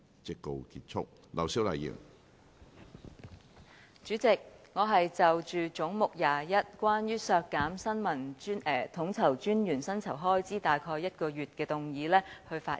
主席，我現就總目 21， 關於削減新聞統籌專員約1個月薪酬開支預算的修正案發言。